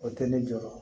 O tɛ ne jɔyɔrɔ